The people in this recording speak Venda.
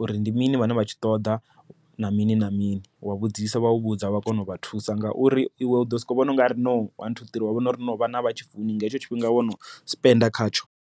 uri ndi mini vhane vha tshi ṱoḓa na mini na mini wa vhudzisa vha u vhudza vha kona u vha thusa. Ngauri iwe u ḓosoko vhona u nga ri no one two three wa vhona ungari no vhana a vhatshi funi nga hetsho tshifhinga wono spend khatsho.